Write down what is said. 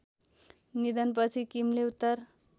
निधनपछि किमले उत्तर